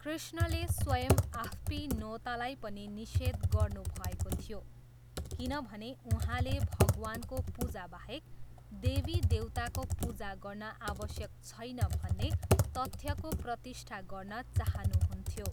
कृष्णले स्वयम् आफ्पिनोतालाई पनि निषेध गर्नुभएको थियो किनभने उहाँले भगवानको पूजाबाहेक देवीदेउताको पूजा गर्न आवश्यक छैन भन्ने तथ्यको प्रतिष्ठा गर्न चाहनुहुन्थ्यो।